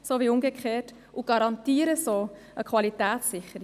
Das sichert die Qualität.